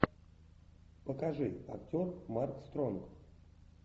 покажи актер марк стронг